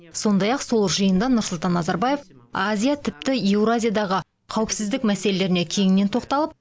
сондай ақ сол жиында нұрсұлтан назарбаев азия тіпті еуразиядағы қауіпсіздік мәселелеріне кеңінен тоқталып